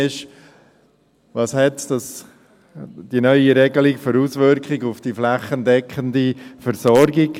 Welche Auswirkungen hat die neue Regelung für die flächendeckende Versorgung?